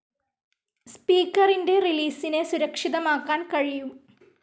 സ്പീക്കറിൻ്റെ റിലീസിനെ സുരക്ഷിതമാക്കാൻ കഴിയും.